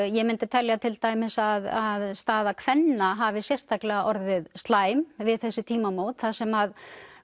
ég myndi telja til dæmis að staða kvenna hafi sérstaklega orðið slæm við þessi tímamót þar sem